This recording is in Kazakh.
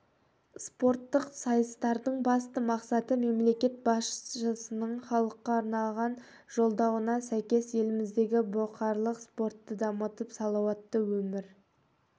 спорттық сайыстардың басты мақсаты мемлекет басшысының халыққа арнаған жолдауына сәйкес еліміздегі бұқаралық спортты дамытып салауатты өмір